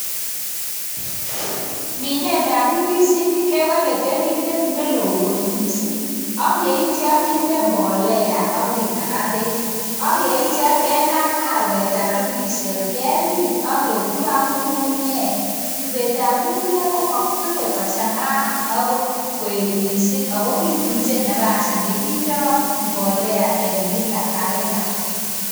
Minet ap ndisinik kebale keringet neloo kot miising' akeitcha kende mbolea akinaga peek akeitcha kenam arwet ap ndisiot kemin aketub ak ng'ung'unyek. Tubet ap ng'ung'unyek komakitube kochang'a akot koet miising' akokituche nafasi nekindoi mbolea en kila ak kila